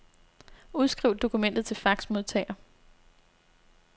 Udskriv dokumentet til faxmodtager.